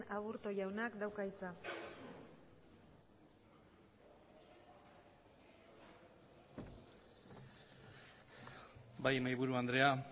aburto jaunak dauka hitza bai mahaiburu andrea